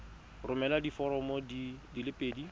romela diforomo di le pedi